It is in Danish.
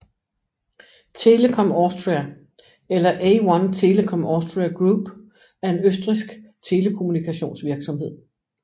Telekom Austria eller A1 Telekom Austria Group er en østrigsk telekommunikationsvirksomhed